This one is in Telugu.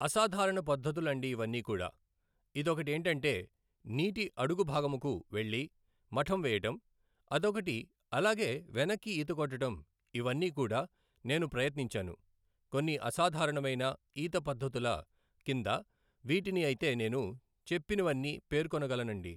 అసాధారణ పద్ధతులు అండి ఇవ్వన్నీ కూడా, ఇదొకటి ఏంటంటే నీటి అడుగు భాగముకు వెళ్లి మఠం వేయడం అదొకటి అలాగే వెనక్కి ఈతకొట్టడం ఇవన్నీ కూడా నేను ప్రయత్నించాను, కొన్ని అసాధారణమైన ఈత పద్ధతుల కింద వీటిని అయితే నేను చెప్పినవన్నీ పేర్కొనగలను అండి.